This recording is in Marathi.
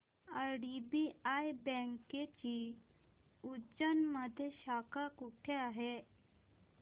आयडीबीआय बँकेची उज्जैन मध्ये शाखा कुठे आहे